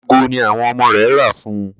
Aago ní àwọn ọmọ rẹ̀ rà fún ùn.